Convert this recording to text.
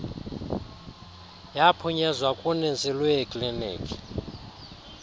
yaphunyezwa kuninzi lweeklinikhi